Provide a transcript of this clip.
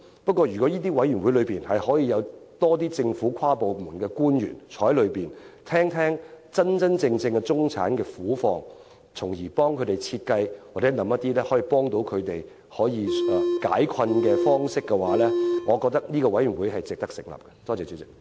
不過，如果委員會內能有更多政府跨部門官員，聆聽真正的中產人士苦況，從而設計和思考一些幫助他們解困的方式，我認為這個委員會是值得成立的。